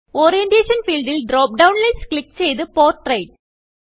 Orientationഫീൽഡിൽ drop down list click ചെയ്ത് portrait